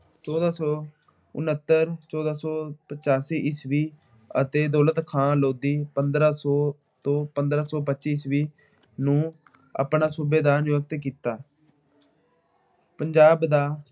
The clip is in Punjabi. ਚੌਦਾਂ ਸੌ ਉਨਹੱਤਰ, ਚੌਦਾ ਸੌ ਪਚਾਸੀ ਈਸਵੀ ਅਤੇ ਦੌਲਤ ਖਾਂ ਲੋਧੀ ਪੰਦਰਾਂ ਸੌ ਤੋਂ ਪੰਦਰਾਂ ਸੌ ਪੱਚੀ ਈਸਵੀ ਨੂੰ ਆਪਣਾ ਸੂਬੇਦਾਰ ਨਿਯੁਕਤ ਕੀਤਾ।